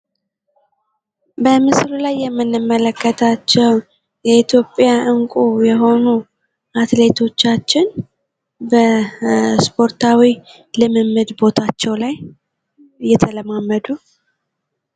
በምስሉ ላይ የምንመለከታቸው የኢትዮጵያ እንቁ የሆኑ አትሌቶቻችን በስፖርታዊ ልምምድ ቦታቸው ላይ እየተለማመዱ።